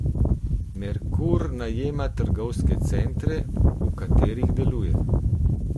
Merkur najema trgovske centre, v katerih deluje.